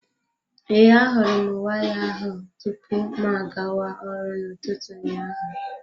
Ee, ahụrụ m waya ahụ tupu mụ agawa ọrụ na ụtụtụ ụnyaahụ.